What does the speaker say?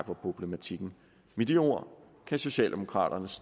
problematikken med de ord kan socialdemokraterne